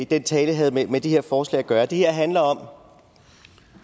den tale havde med med det her forslag at gøre det her handler om